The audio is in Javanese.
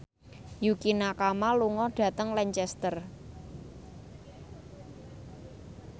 Yukie Nakama lunga dhateng Lancaster